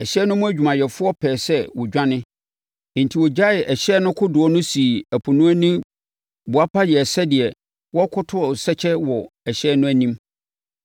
Ɛhyɛn no mu adwumayɛfoɔ pɛɛ sɛ wɔdwane. Enti, wɔgyaee ɛhyɛn no kodoɔ no sii ɛpo no ani boapa yɛɛ sɛdeɛ wɔrekɔto asɛkyɛ wɔ ɛhyɛn no anim.